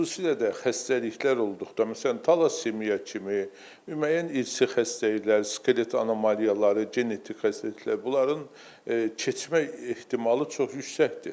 Xüsusilə də xəstəliklər olduqda, məsələn talasimiya kimi, müəyyən irsi xəstəliklər, skelet anomaliyaları, genetik xəstəliklər, bunların keçmə ehtimalı çox yüksəkdir.